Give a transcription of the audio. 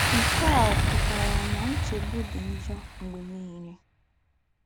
Ǹke à ọ̀ pụ́tàrà ná ńchègbù dì njọ̀ m̀gbè nìlè?